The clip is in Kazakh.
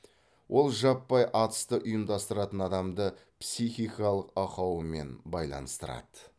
ол жаппай атысты ұйымдастыратын адамды психикалық ақауымен байланыстырады